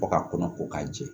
Fɔ ka kɔnɔ ko k'a jɛ